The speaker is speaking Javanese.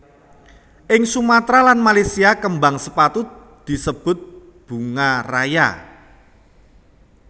Ing Sumatra lan Malaysia kembang sepatu disebut bunga raya